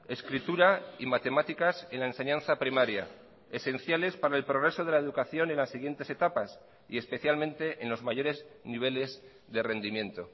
escritura y matemáticas en la enseñanza primaria esenciales para el progreso de la educación en las siguientes etapas y especialmente en los mayores niveles de rendimiento